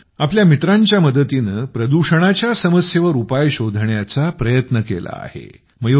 त्यांनी आपल्या मित्रांच्या मदतीने प्रदूषणाच्या समस्येवर उपाय शोधण्याचा प्रयत्न केला आहे